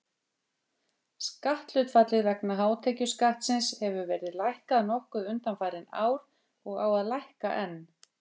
Skatthlutfallið vegna hátekjuskattsins hefur verið lækkað nokkuð undanfarin ár og á að lækka enn.